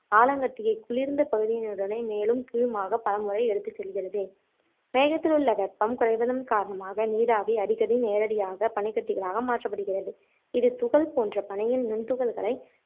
ஆலங்கட்டியை குளிர்ந்த பகுதியினுடனே மேலும் கீழுமாக பல முறை எடுத்து செல்கிறது மேகத்தில் உள்ள வெப்பம் குறைவதன் காரணமாக நீராவி அடிக்கடி நேரடியாக பனிக்கட்டிகளாக மாற்றப்படுகிறது இது துகள் போன்ற பனியின் நுண்துகள்களை